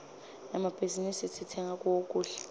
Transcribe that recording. emmabhizinisi sitsenga kuwo kudla